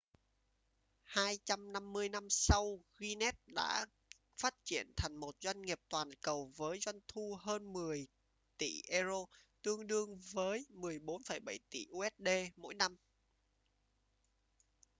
250 năm sau guinness đã phát triển thành một doanh nghiệp toàn cầu với doanh thu hơn 10 tỷ euro tương đương với 14,7 tỷ usd mỗi năm